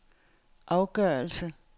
afgørelse